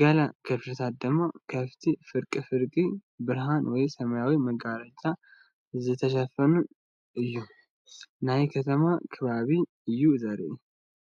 ገለ ክፍልታት ድማ ከምቲ ፍርቂ ፍርቂ ብርሃን ወይ ሰማያዊ መጋረጃ ዝተሸፈነ እዩ። ናይ ከተማ ከባቢ እዩ ዘርኢ።